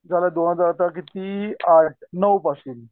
झालं दोनहजार आता किती आठ नवं पासून.